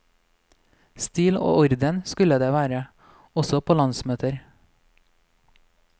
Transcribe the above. Stil og orden skulle det være, også på landsmøter.